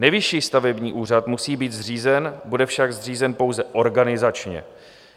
Nejvyšší stavební úřad musí být zřízen, bude však zřízen pouze organizačně.